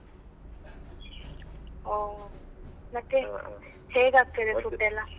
ಹೋ ಮತ್ತೆ ಹೇಗಾಗ್ತದೆ food ಯೆಲ್ಲ.